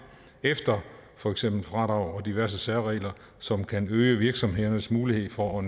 efter for eksempel fradrag og diverse særregler som kan øge virksomhedernes mulighed for at